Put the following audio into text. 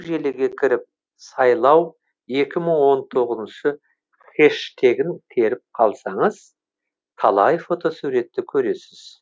желіге кіріп сайлау екі мың он тоғыз хэштегін теріп қалсаңыз талай фотосуретті көресіз